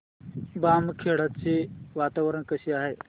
बामखेडा चे वातावरण कसे आहे